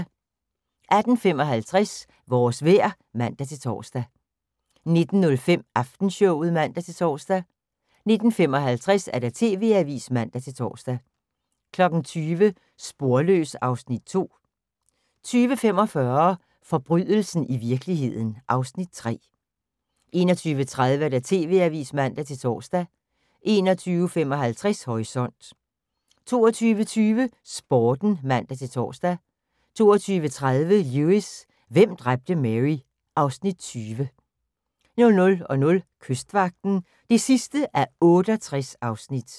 18:55: Vores vejr (man-tor) 19:05: Aftenshowet (man-tor) 19:55: TV-avisen (man-tor) 20:00: Sporløs (Afs. 2) 20:45: Forbrydelsen i virkeligheden (Afs. 3) 21:30: TV-avisen (man-tor) 21:55: Horisont 22:20: Sporten (man-tor) 22:30: Lewis: Hvem dræbte Mary? (Afs. 20) 00:00: Kystvagten (68:68)